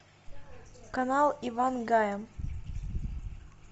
канал ивангая